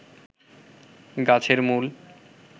গাছের মূল